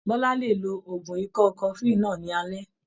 Bọ́lá lè lo oògùn ikọ́ cofflin náà ní alẹ́.